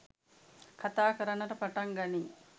කථා කරන්නට පටන් ගනී.